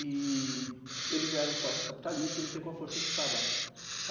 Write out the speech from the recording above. E eles eram sócios capitalistas, eu entrei com a força de trabalho.